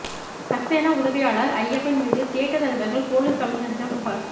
சக்சேனா உதவியாளர் அய்யப்பன் மீது தியேட்டர் அதிபர்கள் போலீஸ் கமிஷனரிடம் புகார்